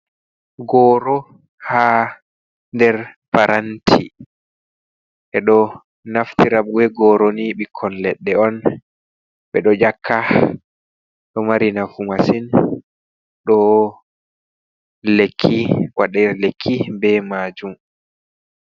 Goro haa nder paranti. ɓeɗo naftira be goroni, ɓikkon leɗɗe on ɓeɗo nyakka, ɗo mari nafu masin waɗe lekki be majum.